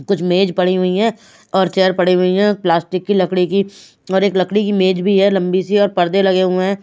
कुछ मेज पड़ी हुई हैं और चेयर पड़ी हुई हैं प्लास्टिक की लकड़ी की और एक लकड़ी की मेज भी है लंबी सी और पर्दे लगे हुए हैं।